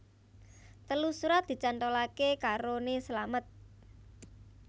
Telu surat dicantolake karone slamet